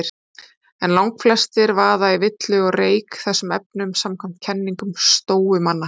En langflestir vaða villu og reyk í þessum efnum samkvæmt kenningum stóumanna.